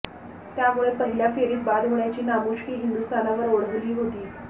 त्यामुळे पहिल्या फेरीत बाद होण्याची नामुष्की हिंदुस्थानवर ओढावली होती